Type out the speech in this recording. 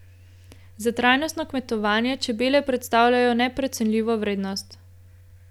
Za trajnostno kmetovanje čebele predstavljajo neprecenljivo vrednost.